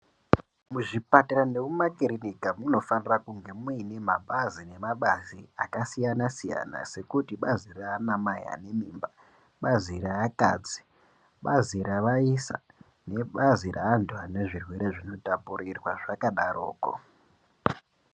Muzvipatara nemukiriniki munofanira kunge muine mabazi nemabazi akasiyana siyana sekuti bazi raana mai ane mimba bazillion reakadzi bazi ravaisa nebazi revanezvirwere zvinotapurirwa zvakadaroko .